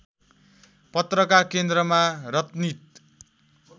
पत्रकका केन्द्रमा रत्नित